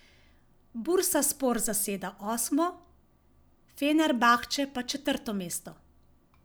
Bursaspor zaseda osmo, Fenerbahče pa četrto mesto.